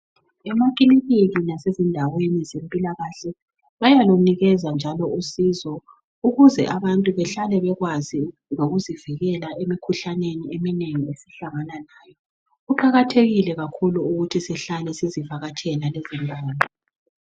amakiliniki lasezindaweni zempilakahle bayalunikeza njalo usizo ukuze abantu behlale bekwazi lokuzivikela emikhuhlaneni eminengi esihlangana layo kuqakathekile kakhulu ukuthi sihlale sizivakatshekla lezindawo